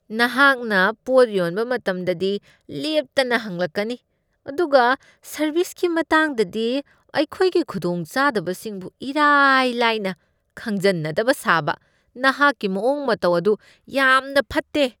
ꯅꯍꯥꯛꯅ ꯄꯣꯠ ꯌꯣꯟꯕ ꯃꯇꯝꯗꯗꯤ ꯂꯦꯞꯇꯅ ꯍꯪꯂꯛꯀꯅꯤ ꯑꯗꯨꯒ ꯁꯔꯚꯤꯁꯀꯤ ꯃꯇꯥꯡꯗꯗꯤ ꯑꯩꯈꯣꯏꯒꯤ ꯈꯨꯗꯣꯡꯆꯥꯗꯕꯁꯤꯡꯕꯨ ꯏꯔꯥꯏ ꯂꯥꯏꯅ ꯈꯪꯖꯟꯅꯗꯕ ꯁꯥꯕ ꯅꯍꯥꯛꯀꯤ ꯃꯑꯣꯡ ꯃꯇꯧ ꯑꯗꯨ ꯌꯥꯝꯅ ꯐꯠꯇꯦ꯫